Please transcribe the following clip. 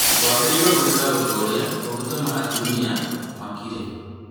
Wagĩrĩirwo gwĩka ũndũ ũrĩa ũngĩhota gũtũma atumia makire